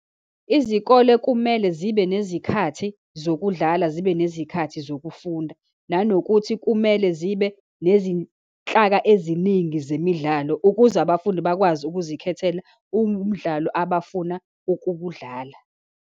Izikole kumele zibe nezikhathi zokudlalala, zibe nezikhathi zokufunda, nanokuthi kumele zibe nezinhlaka eziningi zemidlalo, ukuze abafundi bakwazi ukuzikhethela umdlalo abafuna ukuwudlala.